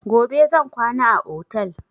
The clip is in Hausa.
Gobe zan kwana a otel